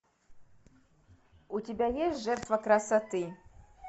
у тебя есть жертва красоты